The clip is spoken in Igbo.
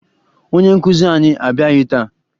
Onye nkụzi anyị abịaghị taa